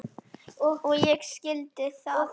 Og ég skildi það ekki.